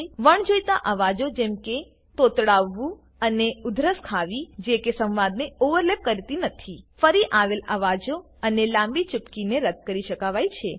વણજોઈતા અવાજો જેમ કે તોતડાવું અને ઉધરસ ખાવી જે કે સંવાદને ઓવરલેપ કરતી નથી ફરી આવેલ અવાજો અને લાંબી ચુપકીને રદ્દ કરી શકાવાય છે